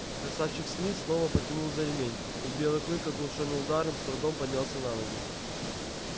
красавчик смит снова потянул за ремень и белый клык оглушённый ударом с трудом поднялся на ноги